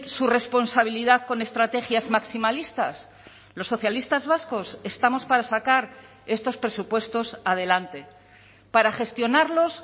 su responsabilidad con estrategias maximalistas los socialistas vascos estamos para sacar estos presupuestos adelante para gestionarlos